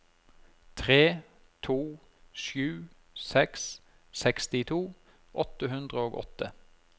tre to sju seks sekstito åtte hundre og åtte